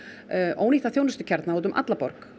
ónýttir þjónustukjarnar út um alla borg